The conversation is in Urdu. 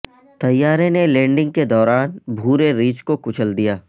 طیارے نے لینڈنگ کے دوران بھورے ریچھ کو کچل دیا